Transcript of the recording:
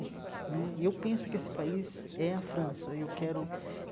Né e eu penso que esse país é a França e eu quero.